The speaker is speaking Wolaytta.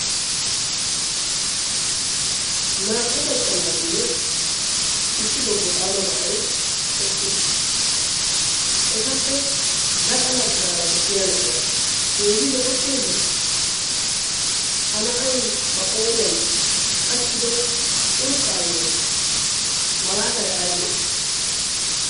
naa'u maccanaatinne issi bobbo xaama na'ai eqqiis .etappe gaxanaggaara de'iya na'iya keehi lo'okkeeyye ha na'ay ayba qooriyan qachchido curuqqaayyo malaata aybee